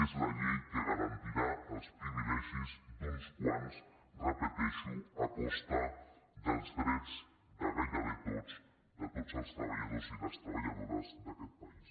és la llei que garantirà els privilegis d’uns quants ho repeteixo a costa dels drets de gairebé tots de tots els treballadors i les treballadores d’aquest país